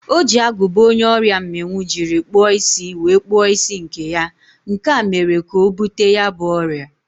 O ji agụba onye ọrịa mmịnwụ jiri kpụọ isi wee kpụọ isi nke ya, nke a mere ka o bute ya bụ ọrịa.